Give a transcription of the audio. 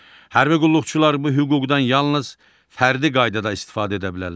Hərbi qulluqçular bu hüquqdan yalnız fərdi qaydada istifadə edə bilərlər.